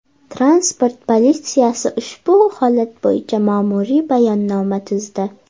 Transport politsiyasi ushbu holat bo‘yicha ma’muriy bayonnoma tuzdi.